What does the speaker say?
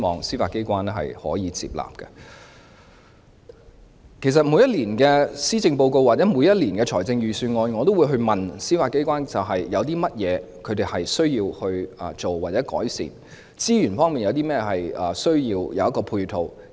事實上，關於每年的施政報告或財政預算案，我也會詢問司法機關有甚麼需要或改善的地方，或需要甚麼資源和配套。